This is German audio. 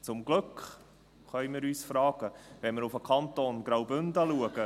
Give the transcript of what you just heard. Zum Glück, können wir uns fragen, wenn wir auf den Kanton Graubünden schauen.